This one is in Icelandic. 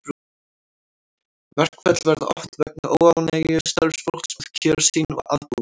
Verkföll verða oft vegna óánægju starfsfólks með kjör sín og aðbúnað.